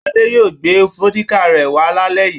Ade yóò gbé vódíkà rẹ̀ wá lálẹ́ yìí.